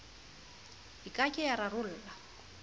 e ke ke ya rarolla